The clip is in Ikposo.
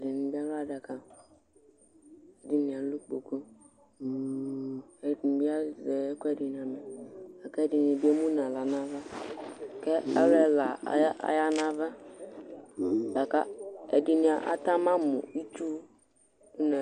Ɛdɩnɩ bɩ alʋ adaka, ɛdɩnɩ alʋ kpoku kʋ ɛdɩnɩ bɩ azɛ ɛkʋɛdɩnɩ amɛ kʋ ɛdɩnɩ bɩ emu nʋ aɣla nʋ ava kʋ alʋ ɛla aya aya nʋ ava la kʋ ɛdɩnɩ ata ma mʋ itsu